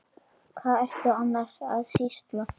Hvað ertu annars að sýsla?